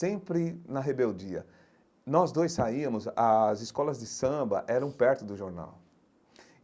Sempre na rebeldia, nós dois saíamos, as escolas de samba eram perto do jornal.